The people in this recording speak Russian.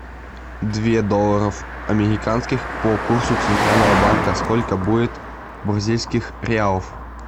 две долларов американских по курсу центрального банка сколько будет бразильских реалов